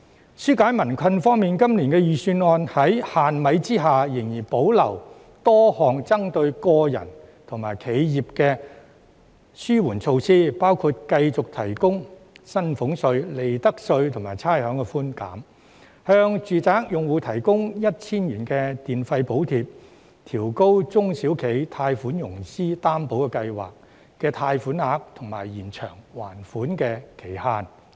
在紓解民困方面，今年預算案在"限米"下仍然保留多項針對個人和企業的紓緩措施，包括繼續提供薪俸稅、利得稅及差餉寬減；向住宅用戶提供 1,000 元電費補貼；調高中小企融資擔保計劃的貸款額及延長還款期限等。